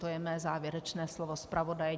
To je mé závěrečné slovo zpravodaje.